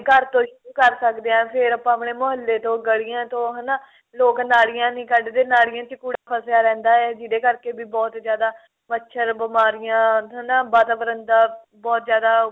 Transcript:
ਘਰ ਤੋਂ ਸ਼ੁਰੂ ਕਰ ਸਕਦੇ ਆਂ ਫੇਰ ਆਪਾਂ ਆਪਣੇ ਮੁਹੱਲੇ ਤੋਂ ਗਲੀਆਂ ਤੋਂ ਹਨਾ ਲੋਕ ਨਾਲੀਆਂ ਨਹੀਂ ਕੱਡਦੇ ਨਾਲੀਆਂ ਚ ਕੂੜਾ ਫਸਿਆ ਰਹਿੰਦਾ ਏ ਜਿਹਦੇ ਕਰਕੇ ਵੀ ਬਹੁਤ ਜਿਆਦਾ ਮੱਛਰ ਬਿਮਾਰੀਆਂ ਹਨਾ ਵਾਤਾਵਰਨ ਦਾ ਬਹੁਤ ਜਿਆਦਾ